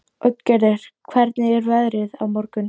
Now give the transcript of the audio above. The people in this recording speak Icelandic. Oddgerður, hvernig er veðrið á morgun?